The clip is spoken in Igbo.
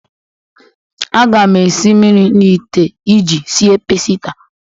Aga m esi mmiri n'ite iji sie paasita.